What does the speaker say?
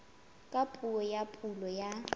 ka puo ya pulo ya